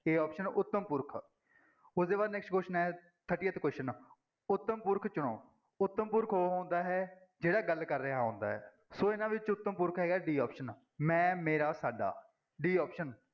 a option ਉੱਤਮ ਪੁਰਖ ਉਹਦੇ ਬਾਅਦ next question ਹੈ thirtieth question ਉਤਮ ਪੁਰਖ ਚੁਣੋ, ਉੱਤਮ ਪੁਰਖ ਉਹ ਹੁੰਦਾ ਹੈ, ਜਿਹੜਾ ਗੱਲ ਕਰ ਰਿਹਾ ਹੁੰਦਾ ਹੈ, ਸੋ ਇਹਨਾਂ ਵਿੱਚ ਉੱਤਮ ਪੁਰਖ ਹੈਗਾ d option ਮੈਂ, ਮੇਰਾ, ਸਾਡਾ d option